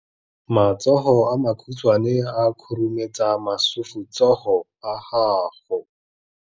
Matsogo a makhutshwane a khurumetsa masufutsogo a gago.